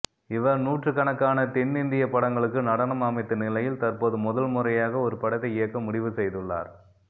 இவர் நூற்றுக்கணக்கான தென்னிந்திய படங்களுக்கு நடனம் அமைத்த நிலையில் தற்போது முதல் முறையாக ஒரு படத்தை இயக்க முடிவு செய்துள்ளார்